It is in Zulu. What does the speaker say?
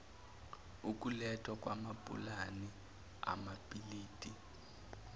ukulethwa kwamapulani amabhilidi